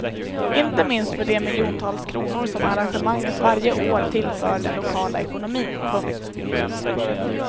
Inte minst för de miljontals kronor som arrangemanget varje år tillför den lokala ekonomin. punkt